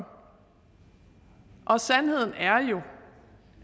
sandheden er jo